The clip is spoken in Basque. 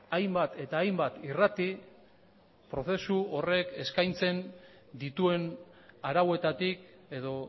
hainbat eta hainbat irrati prozesu horrek eskaintzen dituen arauetatik edo